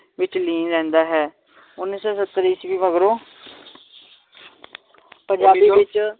ਵਿਚ ਲੀਨ ਰਹਿੰਦਾ ਹੈ ਉੱਨੀ ਸੌ ਸੱਤਰ ਈਸਵੀ ਮਗਰੋਂ ਪੰਜਾਬੀ ਵਿਚ